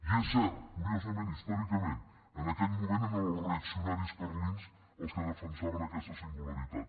i és cert curiosament històricament en aquell moment eren els reaccio naris carlins els que defensaven aquesta singularitat